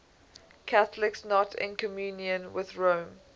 catholics not in communion with rome